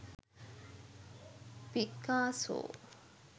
picasso